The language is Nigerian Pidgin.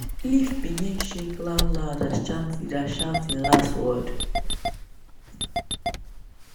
leaf begin shake loud loud as chant leader shout him last word.